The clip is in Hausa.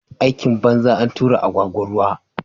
Aikin banza, antura agwagwa ruwa